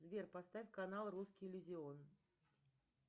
сбер поставь канал русский иллюзион